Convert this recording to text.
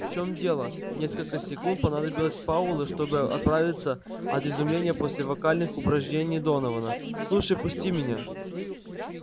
в чём дело несколько секунд понадобилось пауэллу чтобы оправиться от изумления после вокальных упражнений донована слушай пусти меня